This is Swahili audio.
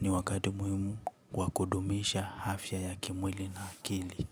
Ni wakati muhimu wa kudumisha afya ya kimwili na akili.